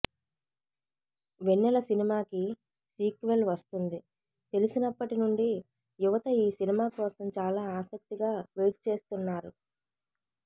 వెన్నెల సినిమాకి సీక్వెల్ వస్తుంది తెలిసినప్పటి నుండి యువత ఈ సినిమా కోసం చాలా ఆసక్తిగా వెయిట్ చేస్తున్నారు